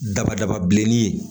Daba daba bilenni ye